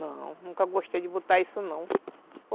Não, nunca gostei de botar isso não.